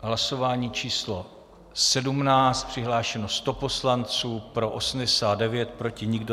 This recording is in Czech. Hlasování číslo 17. Přihlášeno 100 poslanců, pro 89, proti nikdo.